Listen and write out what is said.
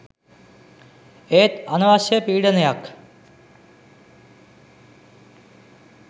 ඒත් අනවශ්‍ය පීඩනයක්